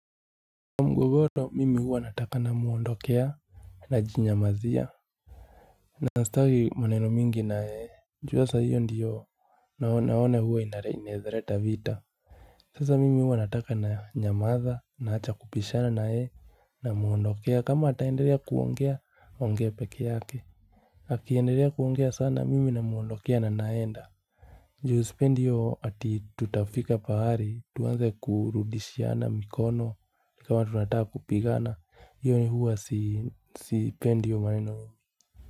Mgogoro mimi huwa nataka namuondokea najinyamazia. Na sitaki maneno mingi na yeye, juu sasa hiyo ndiyo naona huwa inaweza leta vita. Sasa mimi huwa nataka nanyamaza naacha kupishana na yeye namuondokea kama ataendelea kuongea aongee peke yake. Akiendelea kuongea sana mimi namuondokea na naenda. Ju sipendi hiyo ati tutafika pahali, tuanze kurudishiana mikono ni kama tunataka kupigana, hiyo huwa sipendi hiyo maneno mimi.